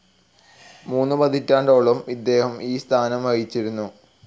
മൂന്ന് പതിറ്റാണ്ടോളം ഇദ്ദേഹം ഈ സ്ഥാനം വഹിച്ചിരുന്നു.